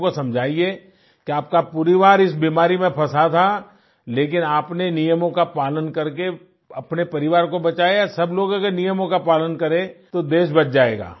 लोगों को समझाइये कि आपका परिवार इस बीमारी में फंसा था लेकिन आपने नियमों का पालन करके अपने परिवार को बचाया सब लोग अगर नियमों का पालन करें तो देश बच जाएगा